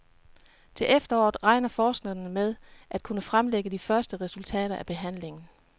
Til efteråret regner forskerne med at kunne fremlægge de første resultater af behandlingen.